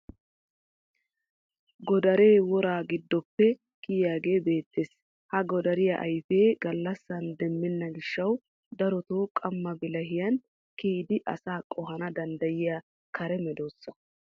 Godaree wora giddoppe kiyiyagee beettes. Ha godariyaa ayifee gallassan demmenna gishshawu daroto qamma bilahiyan kiyidi asaa qohana danddayiya kare medossa.